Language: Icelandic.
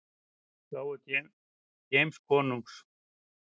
gáfu James konungs.